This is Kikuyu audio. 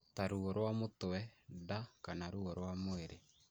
ta ruo rwa mũtwe, nda, kana ruo rwa mwĩrĩ.